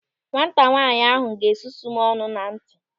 Nwata nwaanyị ahụ ga-esusu m ọnụ na nti.